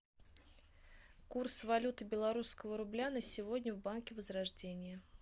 курс валюты белорусского рубля на сегодня в банке возрождение